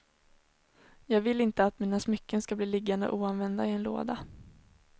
Jag vill inte att mina smycken skall bli liggande oanvända i en låda.